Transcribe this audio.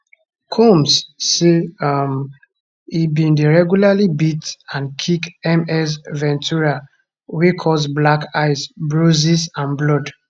combs say um e bin dey regularly beat and kick ms ventura wey cause black eyes bruises and blood